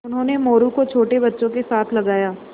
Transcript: उन्होंने मोरू को छोटे बच्चों के साथ लगाया